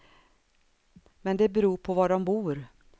Men det beror på var de bor.